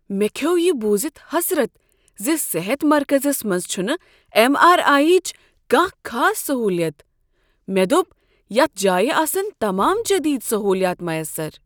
مےٚ کھیوٚو یہ بوٗزتھ حسرت ز صحت مرکزس منز چھنہٕ ایم آر آیی ہٕچ کانٛہہ خاص سہولت مےٚ دوٚپ یتھ جایہ آسن تمام جدید سہولیات میسر